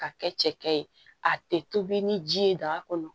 Ka kɛ cɛkɛ ye a tɛ tobi ni ji ye daga kɔnɔ